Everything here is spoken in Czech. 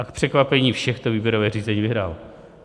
A k překvapení všech to výběrové řízení vyhrál.